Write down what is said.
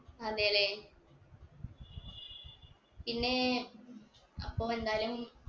അതെ ല്ലേ പിന്നേ അപ്പൊ എന്തായാലും